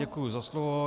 Děkuji za slovo.